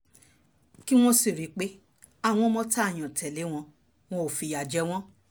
kí wọ́n sì rí i pé àwọn ọmọ tá a yàn tẹ́lẹ̀ wọn wọn ò fìyà jẹ wọ́n